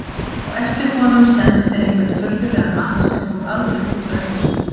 Á eftir honum sendu þeir einhvern furðulegan mann sem fór aldrei út úr eldhúsinu.